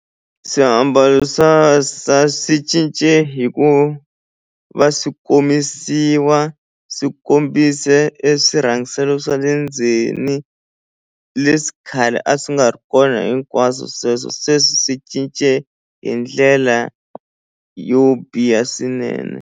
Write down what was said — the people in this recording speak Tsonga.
Swiambalo swi cince hi ku va swi komisiwa swi kombise e swirhangiselo swa le ndzeni leswi khale a swi nga ri kona hinkwaswo sweswo sweswi swi cince hi ndlela yo biha swinene.